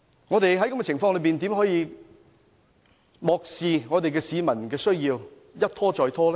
我們在這樣的情況下，怎能漠視市民需要，一拖再拖呢？